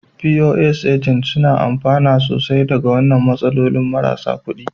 Pos Agent, suna amfana sosai daga wannan matsalolin marasa kuɗi.